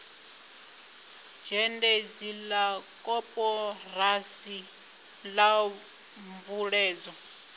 zhendedzi la koporasi la mveledzo